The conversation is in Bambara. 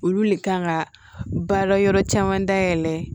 Olu le kan ka baara yɔrɔ caman dayɛlɛ